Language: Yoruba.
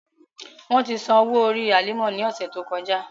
Wọn ti san owo-ori Halima ni ọsẹ to kọja.